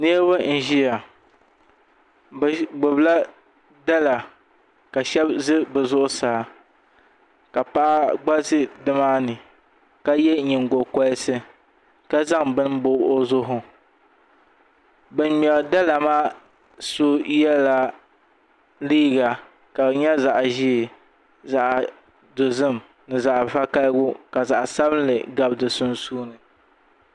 Niraba n ʒiya bi gbubila dala ka shab ʒɛ bi zuɣusaa ka paɣa gba ʒɛ nimaani ka yɛ nyingokoriti ka zaŋ bini n bob o zuɣu bin ŋmɛri dala maa so yɛla liiga ka di nyɛ zaɣ ʒiɛ zaɣ dozim ni zaɣ vakaɣali ka zaɣ sabinli gabi di puuni